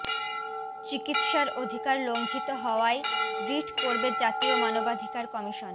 চিকিৎসার অধিকার লঙ্ঘিত হওয়ায় রিট করবে জাতীয় মানবাধিকার কমিশন